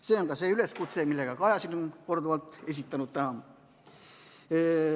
See on ka see üleskutse, millega Kaja siin on korduvalt täna esinenud.